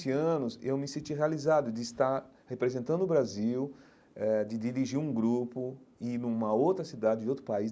Vinte anos, eu me senti realizado de estar representando o Brasil, eh de dirigir um grupo e ir numa outra cidade de outro país.